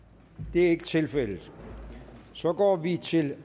det er ikke tilfældet så går vi til